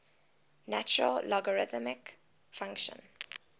natural logarithm function